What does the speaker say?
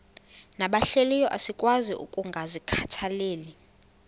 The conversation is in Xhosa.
nabahlehliyo asikwazi ukungazikhathaieli